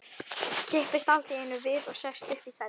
Kippist allt í einu við og sest upp í sætinu.